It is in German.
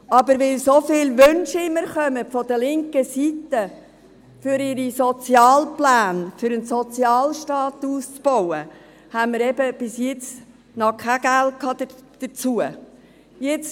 Aber weil so viele Wünsche immer von linker Seite kommen, für ihre Sozialpläne, für den Ausbau eines Sozialstaates, haben wir eben bis jetzt noch kein Geld dafür gehabt.